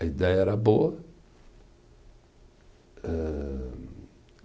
A ideia era boa. Hã